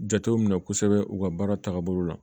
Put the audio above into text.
Jateminɛ kosɛbɛ u ka baara tagabolo la